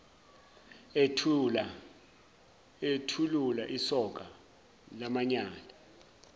ethulula isoka lamanyala